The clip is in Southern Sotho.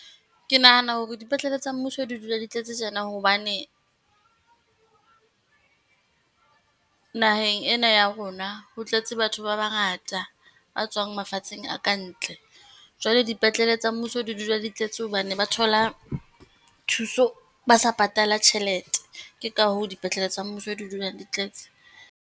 Ke nahana hore dipetlele tsa mmuso di dula di tletse tjena hobane , naheng ena ya rona, ho tletse batho ba bangata ba tswang mafatsheng a kantle. Jwale dipetlele tsa mmuso di dula di tletse hobane ba thola thuso, ba sa patala tjhelete. Ke ka hoo dipetlele tsa mmuso di dulang di tletse.